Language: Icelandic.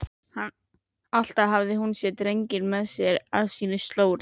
Alltaf hafði hún drenginn með sér á sínu slóri.